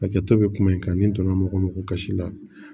Hakɛto bɛ kuma in kan ni donna mɔgɔ min ko kasi la